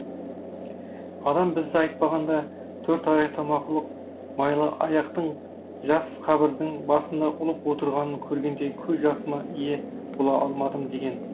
адам бізді айтпағанда төрт аяқты мақұлық майлыаяқтың жас қабірдің басында ұлып отырғанын көргенде көз жасыма ие бола алмадым деген